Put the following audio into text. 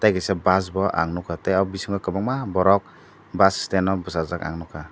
tei kisa bus bo ang nugkha tei ah bisingo kwbangma borok bus stang o basajak ang nugkha.